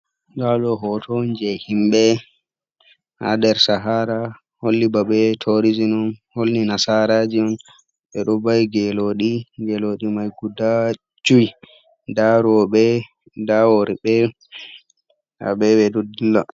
Laru hoto ji himɓe ha nder sahara holli ba ɓe yahi torizin on, holli nasaraji on ɓeɗo bai geloɗi geloɗi mai guda joi nda robe nda worɓe haɓe yahi ɓeɗo dilla.